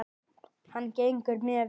Hann gengur mjög vel.